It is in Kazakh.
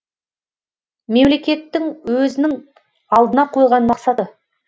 мемлекеттің өзінің алдына қойған мақсаты